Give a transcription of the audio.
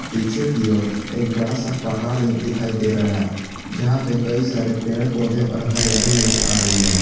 पीछे की ओर एक बड़ा सा पहाड़ दिखाई दे रहा है जहां पर कई सारे पेड़ पौधे और हरियाली नजर आ रही है।